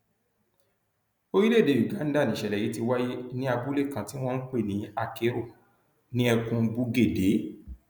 orílẹèdè uganda nìṣẹlẹ yìí ti wáyé ní abúlé kan tí wọn ń pè ní akero ní ẹkùn bugedée